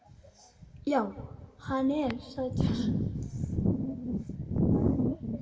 Já, hann er sætur.